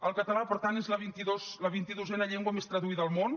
el català per tant és la vint i dosena llengua més traduïda al món